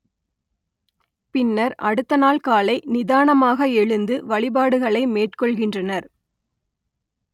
பின்னர் அடுத்த நாள் காலை நிதானமாக எழுந்து வழிபாடுகளை மேற்கொள்கின்றனர்